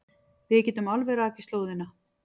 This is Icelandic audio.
Við getum alveg rakið slóðina.